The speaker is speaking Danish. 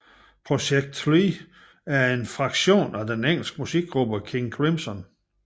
ProjeKct Three er en fraktion af den engelske musikgruppe King Crimson